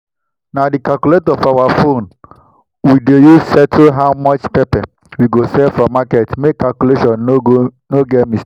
na the calculator for our phone we dey use settle how much pepper we sell for market make calculation no go get mistake.